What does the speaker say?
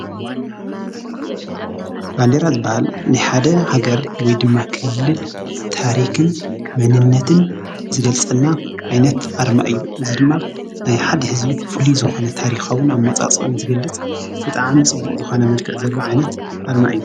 እዚ ናይ ኢ/ያ ሰራዊት መለለይ ባንደራ እዩ። ብተወሳኪ ባንዴራ ናይ ክልል ወይ ሃገር መለለይ እዩ።